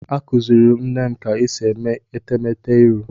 Akuziri m nne m ka esi eme etemete iru.